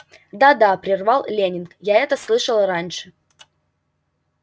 да да прервал лэннинг я это слышал раньше